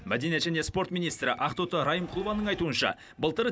мәдениет және спорт министрі ақтоты райымқұлованың айтуынша былтыр